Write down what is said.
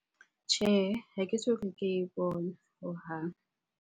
Tjhehe, ha ke soka ke e bona hohang.